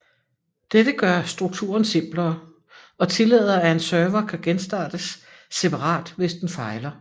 Dette gør strukturen simplere og tillader at en server kan genstartes separat hvis den fejler